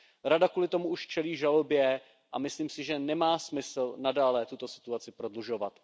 Rada kvůli tomu už čelí žalobě a myslím si, že nemá smysl nadále tuto situaci prodlužovat.